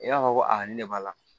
I b'a fɔ ko a ni ne b'a la